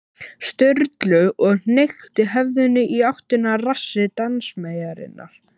Sturlu og hnykkti höfðinu í áttina að rassi dansmeyjarinnar.